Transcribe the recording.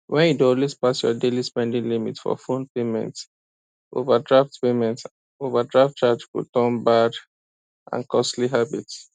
when you dey always pass your daily spending limit for phone payment overdraft payment overdraft charge go turn bad and costly habit